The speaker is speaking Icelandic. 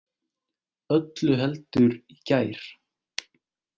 Öllu heldur í gær.